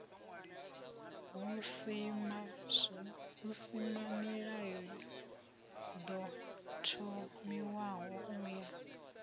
husimamilayo ḓo thomiwaho u ya